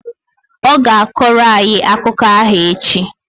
Ọ ga-akọrọ anyị akụkọ ahụ echi